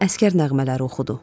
Əsgər nəğmələri oxudu.